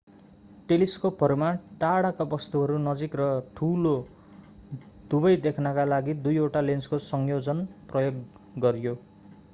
टेलिस्कोपहरूमा टाढाका वस्तुहरू नजिक र ठूलो दुबै देख्नका लागि दुईवटा लेन्सको संयोजन प्रयोग गरियो